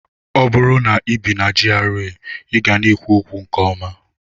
Ọ bụrụ na ibi na GRA, ị ga na-ekwu okwu nke ọma.